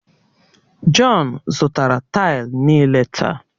Jọn zụtara taịlu niile taa